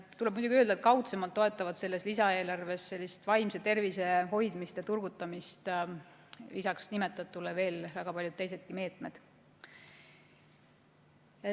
Tuleb muidugi öelda, et kaudsemalt toetavad selles lisaeelarves sellist vaimse tervise hoidmist ja turgutamist lisaks nimetatule veel väga paljud teisedki meetmed.